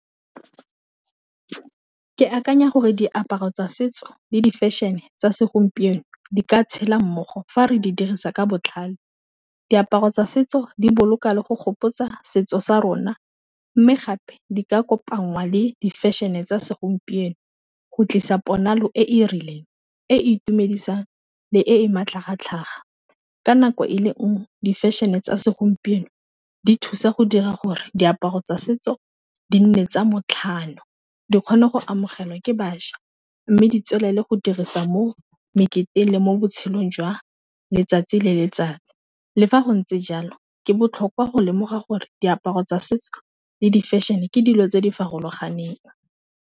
Ke akanya gore diaparo tsa setso le di fashion-e tsa segompieno di ka tshela mmogo fa re di dirisa ka botlhale, diaparo tsa setso di boloka le go gopotsa setso sa rona, mme gape di ka kopangwa le di fashion e tsa segompieno, go tlisa ponalo e e rileng e e itumedisang le e e matlhagatlhaga ka nako e le nngwe di fashion-e tsa segompieno di thusa go dira gore diaparo tsa setso di nne tsa botlhalo, di kgone go amogelwa ke bašwa mme di tswela ko le go dirisa mo meketeng le mo botshelong jwa letsatsi le letsatsi, le fa go ntse jalo ke botlhokwa go lemoga gore diaparo tsa setso le di fashion-e ke dilo tse di faloganeng.